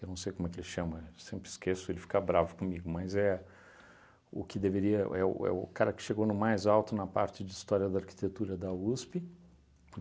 Eu não sei como é que ele chama, sempre esqueço, ele fica bravo comigo, mas é o que deveria é o é o cara que chegou no mais alto na parte de História da Arquitetura da USP.